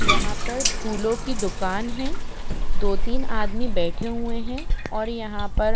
यहां पर फूलों की दुकान है दो तीन आदमी बैठे हुए हैं और यहां पर--